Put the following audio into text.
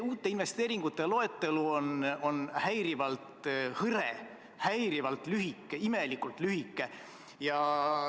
Uute investeeringute loetelu on häirivalt hõre, häirivalt lühike, imelikult lühike.